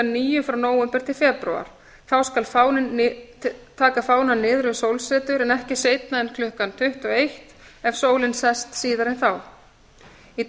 níu frá nóvember til febrúar þá skal taka fánann niður við sólsetur en ekki seinna en klukkan tuttugu og eitt ef sólin sest síðar en þá í